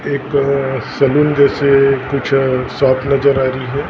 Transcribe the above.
एक सैलून जैसे कुछ शॉप नजर आ रही है।